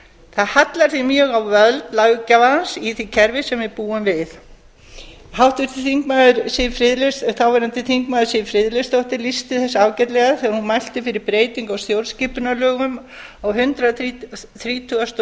það hallar því mjög á völd löggjafans í því kerfi sem við búum við háttvirtur þáverandi þingmaður siv friðleifsdóttir lýsti þessu ágætlega þegar hún mælti fyrir breytingu á stjórnarskipunarlögum á hundrað þrítugasta og